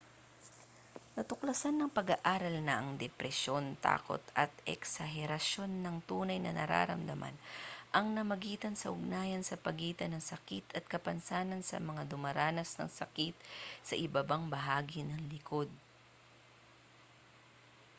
natuklasan ng pag-aaral na ang depresyon takot at eksaherasyon ng tunay na nararamdaman ang namagitan sa ugnayan sa pagitan ng sakit at kapansanan sa mga dumaranas ng sakit sa ibabang bahagi ng likod